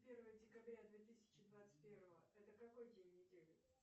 первое декабря две тысячи двадцать первого это какой день недели